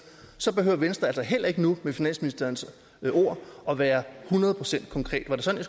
så behøver venstre altså heller ikke nu med finansministerens ord at være hundrede procent konkret var det sådan